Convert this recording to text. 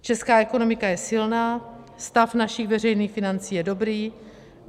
Česká ekonomika je silná, stav našich veřejných financí je dobrý.